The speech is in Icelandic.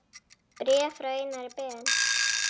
Bréf frá Einari Ben